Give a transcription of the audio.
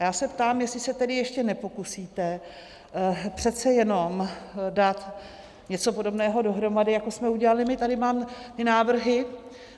A já se ptám, jestli se tedy ještě nepokusíte přece jenom dát něco podobného dohromady jako jsme udělali my, tady mám ty návrhy.